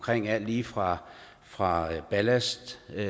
alt lige fra fra ballastvand